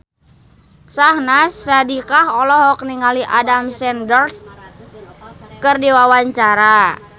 Syahnaz Sadiqah olohok ningali Adam Sandler keur diwawancara